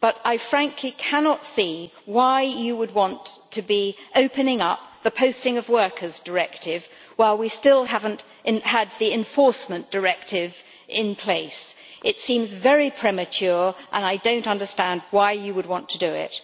However, I frankly cannot see why one would want to be opening up the Posting of Workers Directive while we still do not have the Enforcement Directive in place. This seems very premature and I do not understand why one would want to do it.